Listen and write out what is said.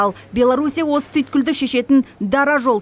ал беларусь осы түйткілді шешетін дара жол